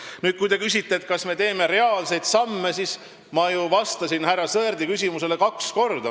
Nüüd, kui te küsite, kas me teeme reaalseid samme, siis ma ju vastasin härra Sõerdi küsimusele kaks korda.